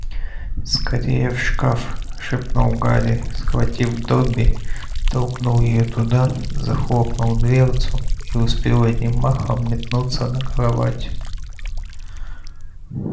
скорее в шкаф шепнул гарри схватил добби толкнул его туда захлопнул дверцу и успел одним махом метнуться на кровать